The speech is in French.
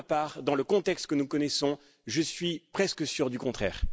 Pour ma part, dans le contexte que nous connaissons, je suis presque sûr du contraire.